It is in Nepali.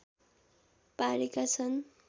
पारेका छन्